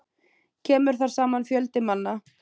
Kemur þar saman fjöldi manna.